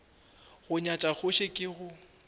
go nyatša kgoši ke go